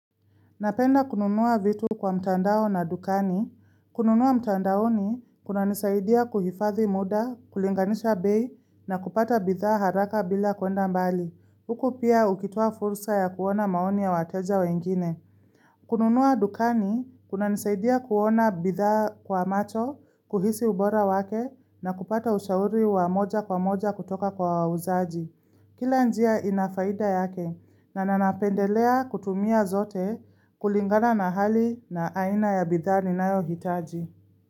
Napenda kununua vitu kwa mtandao na dukani. Kununua mtandaoni kunanisaidia kuhifadhi muda, kulinganisha bei na kupata bitha haraka bila kuenda mbali. Huku pia ukitua fursa ya kuona maoni ya wateja wengine. Kununua dukani, kuna nisaidia kuona bidhaa kwa macho, kuhisi ubora wake na kupata ushauri wa moja kwa moja kutoka kwa wauzaji. Kila njia inafaida yake na napendelea kutumia zote kulingana na hali na aina ya bidhaa ninayo hitaji.